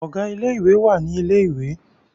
Ọ̀gá ilé ìwé wà ní ilẹ̀ ìwé